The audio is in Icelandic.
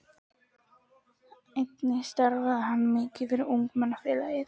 Einnig starfaði hann mikið fyrir Ungmennafélagið.